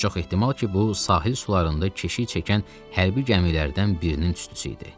Çox ehtimal ki, bu sahil sularında keşik çəkən hərbi gəmilərdən birinin tüstüsü idi.